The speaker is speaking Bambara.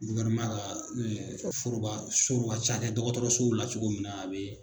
ka furubaso ka ca dɛ dɔgɔtɔrɔsow la cogo min na a bɛ